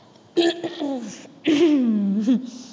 ஹம்